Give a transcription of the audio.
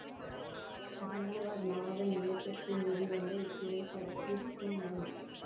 G R Nathan இயக்கத்தில் வெளிவந்த இத்திரைப்படத்தில் டி எம்